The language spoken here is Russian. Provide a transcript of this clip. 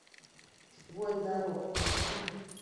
воин дорог включи мне